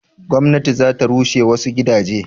gwamnati za ta rushe wasu gidaje?